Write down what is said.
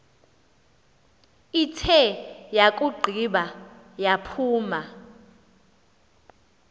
ithe yakugqiba yaphuma